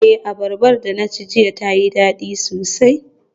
Eh, abarba da na ci jiya tayi dadi sosai.